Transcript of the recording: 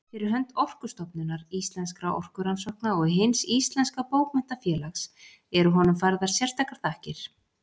Fyrir hönd Orkustofnunar, Íslenskra orkurannsókna og Hins íslenska bókmenntafélags eru honum færðar sérstakar þakkir.